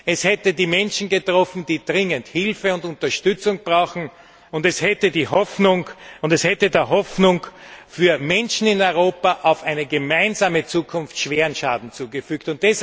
Es hätte die Menschen getroffen, die dringend Hilfe und Unterstützung brauchen, und es hätte der Hoffnung für die Menschen in Europa auf eine gemeinsame Zukunft schweren Schaden zugefügt.